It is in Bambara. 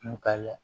Kun ka ya